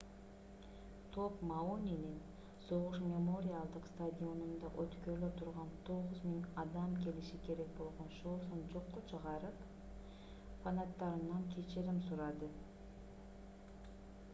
топ мауинин согуш мемориалдык стадионунда өткөрүлө турган 9000 адам келиши керек болгон шоусун жокко чыгарып фанаттарынан кечирим сурады